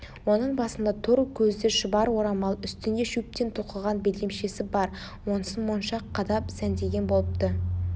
оның басында тор көзді шұбар орамал үстінде шөптен тоқыған белдемшесі бар онысын моншақ қадап сәндеген болыпты